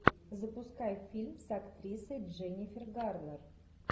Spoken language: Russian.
запускай фильм с актрисой дженнифер гарнер